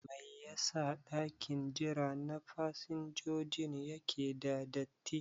Mai ya sa ɗakin jira na fasinjojin yake da datti?